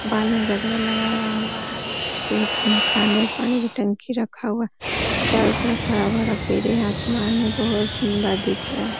बालों में गजरा लगाया हुआ है वहाँ पे मकान है पानी की टंकी रखा हुआ है चारों तरफ हरा-भरा पेड़ है। आसमान है बोहोत सुन्दर दिख रहा है।